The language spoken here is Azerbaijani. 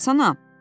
Yatsana.